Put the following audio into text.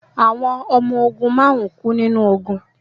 Àwọn ọmọ ogun márùn-ún kú nínú ogun